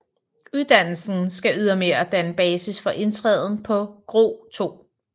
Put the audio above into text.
Uddannelsen skal ydermere danne basis for indtræden på GRO 2